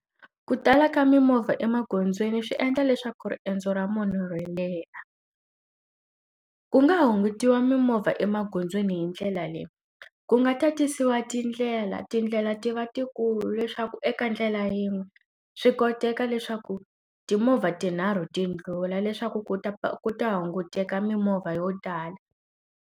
Ku tala ka mimovha emagondzweni swi endla leswaku riendzo ra munhu ri leha. Ku nga hungutiwa mimovha emagondzweni hi ndlela leyi. Ku nga tatisiwa tindlela. Tindlela ti va tikulu leswaku eka ndlela yin'we swi koteka leswaku timovha tinharhu ti ndlhula leswaku ku ta ku ta hunguteka mimovha yo tala.